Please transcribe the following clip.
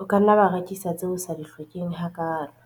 O ka nna wa rekisa tseo o sa di hlokeng hakaalo.